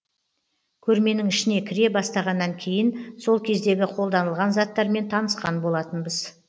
көрменің ішіне кіре бастағаннан кейін сол кездегі қолданылған заттармен танысқан болатынбыз